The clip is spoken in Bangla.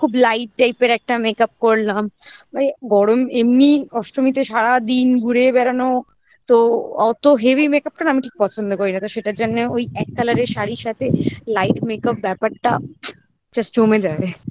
খুব light type এর একটা makeup করলাম মানে গরম এমনি অষ্টমীতে সারাদিন ঘুরে বেড়ানো তো অত heavy makeup টা না আমি ঠিক পছন্দ করি না তো সেটার জন্য ওই এক colour এর শাড়ির সাথে light makeup ব্যাপারটা just জমে যায়